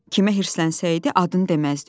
Kimə hirslənsəydi adını deməzdi.